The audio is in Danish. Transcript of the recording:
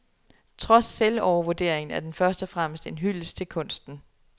Trods selvovervurderingen er den først og fremmest en hyldest til kunsten.